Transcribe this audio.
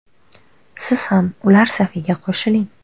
Siz ham ular safiga qo‘shiling!